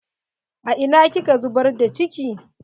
A ina kika zubar da ciki?